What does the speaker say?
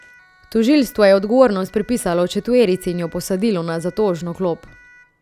Tožilstvo je odgovornost pripisalo četverici in jo posadilo na zatožno klop.